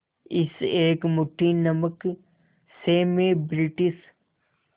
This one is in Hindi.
इस एक मुट्ठी नमक से मैं ब्रिटिश